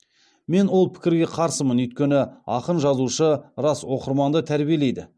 мен ол пікірге қарсымын өйткені ақын жазушы рас оқырманды тәрбиелейді